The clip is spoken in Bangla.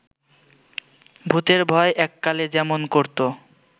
ভূুতের ভয়ে এককালে যেমন করত